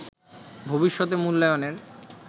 ভবিষ্যতে মূল্যায়নের